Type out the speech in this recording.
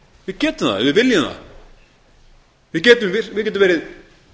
við getum það ef við viljum það við getum verið